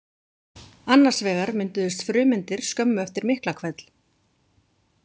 Annars vegar mynduðust frumeindir skömmu eftir Miklahvell.